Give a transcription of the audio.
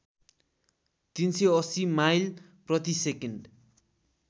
३८० mile प्रतिसेकेन्ड